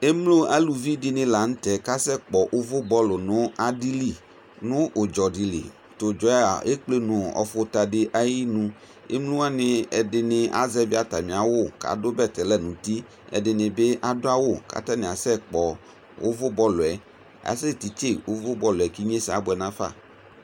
ɛmlo ɑluvidini lɑɲutɛ kɑsɛkpo ωvu bol nɑɗili ɲu ωdzɔɗili tũdzɔɑ ɛkplé ɲu ɔfωtɑɗi ɑyïɲu ɛmlowɑɲi ɛɗiɲi ɛɗiṇi ɑzɛvi ɑtɑmiɑwω kɑɗu bɛtɛlɑ ɲωti ɛɗinibi ɑɗuɑwu kɑtɑɲi ɑsɛgbɔ ωvu kɑɲikɑsɛkpo ωvu bolc ɑsɛtitsɛ ũvu bol ïnyɛsɛ ɑbuɛṅɑfɑ